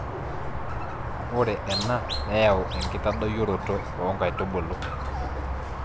ore ena neyau enkitadoyioroto oo nkaitubulu